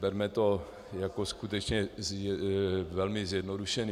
Berme to jako skutečně velmi zjednodušené.